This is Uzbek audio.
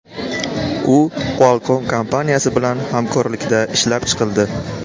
U Qualcomm kompaniyasi bilan hamkorlikda ishlab chiqildi.